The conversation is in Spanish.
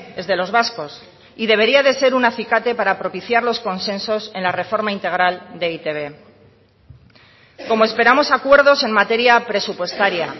es de los vascos y debería de ser un acicate para propiciar los consensos en la reforma integral de e i te be como esperamos acuerdos en materia presupuestaria